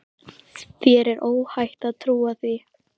Þér er óhætt að trúa því.